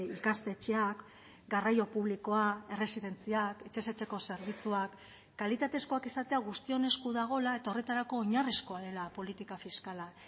ikastetxeak garraio publikoa erresidentziak etxez etxeko zerbitzuak kalitatezkoak izatea guztion esku dagoela eta horretarako oinarrizkoa dela politika fiskala